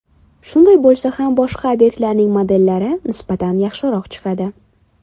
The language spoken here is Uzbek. Shunday bo‘lsa ham, boshqa obyektlarning modellari nisbatan yaxshiroq chiqadi.